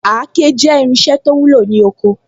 Àáké jẹ́ irinṣẹ́ to wúlò ní oko